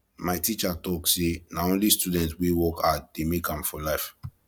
my teacher talk sey na only student wey work hard dey make am for life